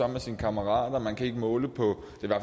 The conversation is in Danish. med sine kammerater man kan ikke måle på